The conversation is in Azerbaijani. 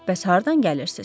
Bəs hardan gəlirsiz?